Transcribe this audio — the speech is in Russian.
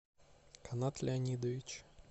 канат леонидович